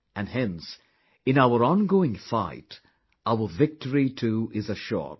and hence, in our ongoing fight, our victory too is assured